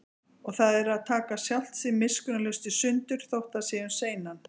Og það er að taka sjálft sig miskunnarlaust í sundur, þótt það sé um seinan.